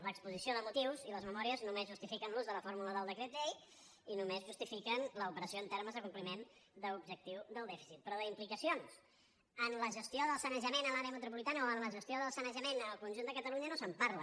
l’exposició de motius i les memòries només justifiquen l’ús de la fórmula del decret llei i només justifiquen l’operació en termes de compliment d’objectiu del dèficit però d’implicacions en la gestió del sanejament en l’àrea metropolitana o en la gestió del sanejament en el conjunt de catalunya no se’n parla